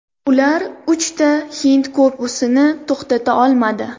Ular uchta hind korpusini to‘xtata olmadi.